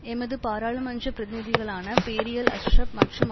எமது பாராளுமன்ற பிரதிநிதிகளான பேரியல் அஷ்ரப் மற்றும்